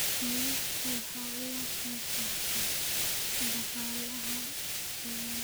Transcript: Kalluunku waxa uu ka qaybqaataa dhaqaalaha badda.